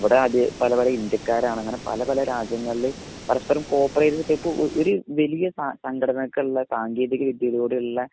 ഇവിടെ പല പല ഇന്ത്യക്കാർ ആണ് അങ്ങിനെ പല പല രാജ്യങ്ങളിൽ പരസ്പരം കോർപ്പറേറ്റ് ഓ ഒരു വലിയ സംഘടനക്കുള്ള സാങ്കേതിക വിദ്യയിലൂടെ ഉള്ള